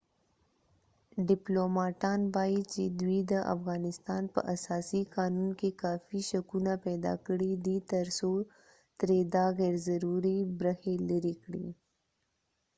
ډیپلوماټان وایې چې دوی د افغانستان په اساسي قانون کې کافي شکونه پیداکړي دي تر څو ترې دا غیرضروري برخې لرې کړي